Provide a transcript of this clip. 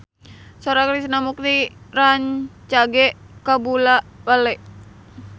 Sora Krishna Mukti rancage kabula-bale